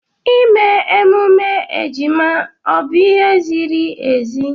ịme emume ejima ọ bụ ihe ziri ezi ime?